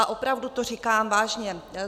A opravdu to říkám vážně.